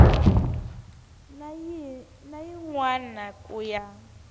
na yin wana ku ya